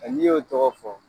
Nka n'i y'o tɔgɔ fɔ